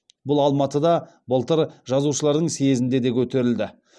бұл алматыда былтыр жазушылардың съезінде де көтерілді